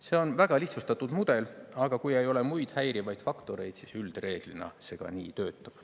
See on väga lihtsustatud mudel, aga kui ei ole muid häirivaid faktoreid, siis üldreeglina see ka nii töötab.